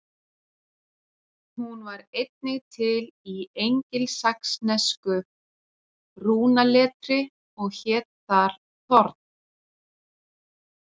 Hún var einnig til í engilsaxnesku rúnaletri og hét þar þorn.